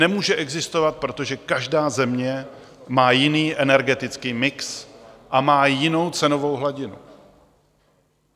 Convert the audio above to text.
Nemůže existovat, protože každá země má jiný energetický mix a má jinou cenovou hladinu.